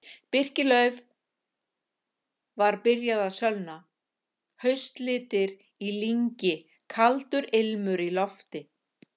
Birkilauf var byrjað að sölna, haustlitir í lyngi, kaldur ilmur í lofti.